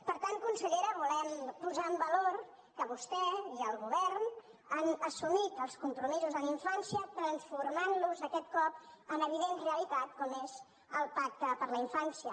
per tant consellera volem posar en valor que vostè i el govern han assumit els compromisos en infància i els han transformat aquest cop en evident realitat com és el pacte per a la infància